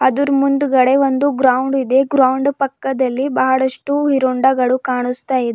ಇದರ ಮುಂದುಗಡೆ ಒಂದು ಗ್ರೌಂಡ್ ಇದೆ ಗ್ರೌಂಡ್ ಪಕ್ಕದಲ್ಲಿ ಬಹಳಷ್ಟು ಹೀರೋ ಹೋಂಡಾ ಗಳು ಕಾಣುಸ್ತಿದೆ.